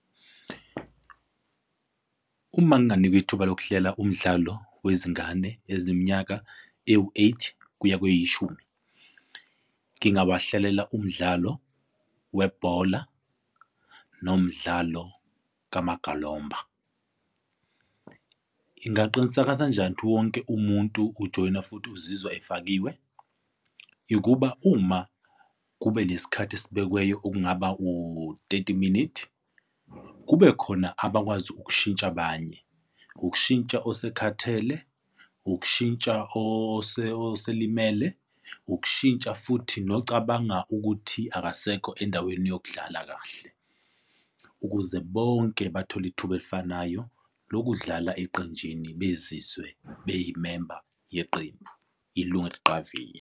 Uma nginganikwa ithuba lokuhlela umdlalo wezingane ezineminyaka ewu-eight kuya kweyishumi, ngingabahlelela umdlalo webhola nomdlalo kumagalomba. Ingaqinisekisa njani ukuthi wonke umuntu ujoyina futhi uzizwa efakiwe? Ikuba, uma kube nesikhathi esibekiweyo okungaba u-thirty minutes, kubekhona abakwazi ukushintsha abanye. Ukushintsha osekhathele, ukushintsha oselimele, ukushintsha futhi nocabanga ukuthi akasekho endaweni yokudlala kahle ukuze bonke bathole ithuba elifanayo lokudlala eqenjini bezizwe beyimemba yeqembu, inothiqavile.